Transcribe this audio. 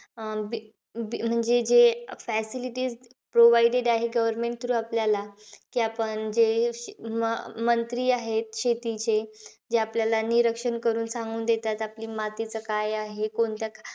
अं म्हणजे जे facilities provided आहेत government through आपल्याला. की आपण जे मंत्री आहे शेतीचे. जे आपल्याला निरक्षण करून सांगून देतात. आपली मातीचं काय आहे, कोणत्या,